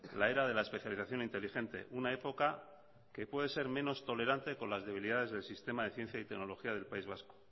la era de la especialización inteligente una época que puede ser menos tolerante con las debilidades del sistema de ciencia y tecnología del país vasco